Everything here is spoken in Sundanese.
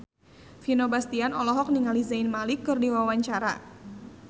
Vino Bastian olohok ningali Zayn Malik keur diwawancara